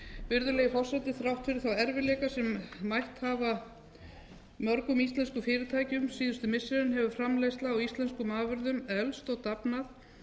virðulegi forseti þrátt fyrir þá erfiðleika sem mætt hafa mörgum íslenskum fyrirtækjum síðustu missirin hefur framleiðsla á íslenskum afurðum eflst og dafnað